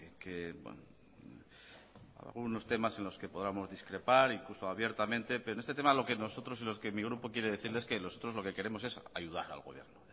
que algunos temas en los que podamos discrepar incluso abiertamente pero en este tema lo que nosotros y lo que mi grupo quiere decirle es que nosotros lo que queremos es ayudar al gobierno